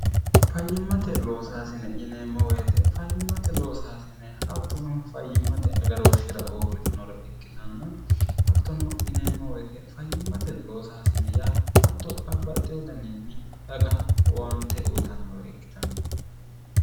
fayyimmate loosaasine yineemmooweete fayyimmate loosaasine hattono fayyimmate agarooshshira uurritinore ikkitanna hattono yineemmooweete fayyimmate loosaasine yaa hatto babbaxxe wodaniinni daga uwante uyitannore ikkitanno